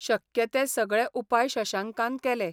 शक्य ते सगळे उपाय शशांकान केले.